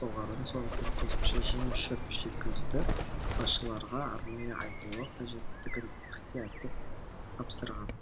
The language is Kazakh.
соғарын сондықтан қосымша жем шөп жеткізуді басшыларға арнайы айтуы қажеттігін ықтияттап тапсырған